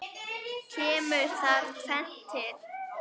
Kemur þar tvennt til.